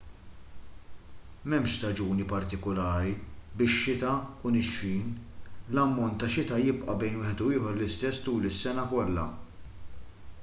m'hemmx staġuni partikulari bix-xita u nixfin l-ammont tax-xita jibqa' bejn wieħed u ieħor l-istess tul is-sena kollha